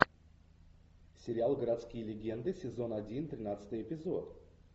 сериал городские легенды сезон один тринадцатый эпизод